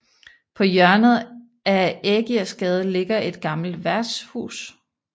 På hjørnet af Ægirsgade ligger et gammelt værtshus